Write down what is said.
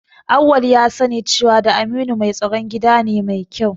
Auwal ya sani cewa da Aminu mai tsaron gida ne mai kyau